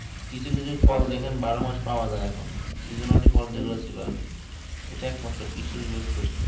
কিছু কিছু ফল দেখেন বারো মাস পাওয়া যাই না seasonally ফল যেইগুলো আর কি ইটা একমাত্র কৃষি র বিপ্লব